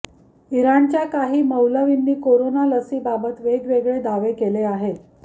इराणच्या काही मौलवींनी कोरोना लसीबाबत वेगवेगळे दावे केले आहेत